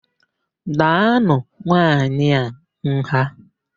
Daanụ nwaanyị a nha!